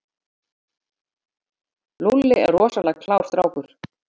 Lúlli er rosalega klár strákur.